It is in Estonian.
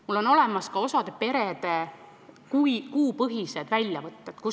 Mul on olemas osa perede kuupõhised kuluväljavõtted.